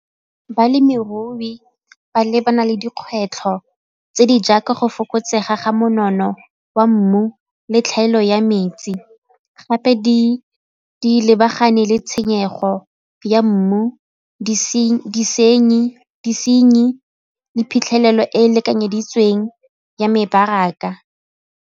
Balemirui ba lebana le dikgwetlho tse di jaaka go fokotsega ga monono wa mmu le tlhaelo ya metsi gape di lebagane le tshenyego ya mmu disenyi le phitlhelelo e e lekanyeditsweng ya mebaraka.